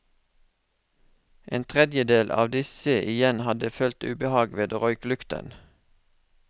En tredjedel av disse igjen hadde følt ubehag ved røyklukten.